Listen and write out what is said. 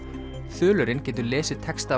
þulurinn getur lesið texta af